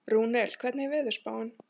Rúnel, hvernig er veðurspáin?